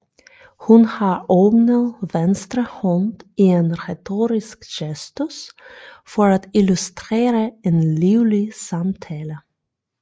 Hun har åbnet venstre hånd i en retorisk gestus for at illustrere en livlig samtale